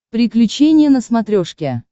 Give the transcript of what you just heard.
приключения на смотрешке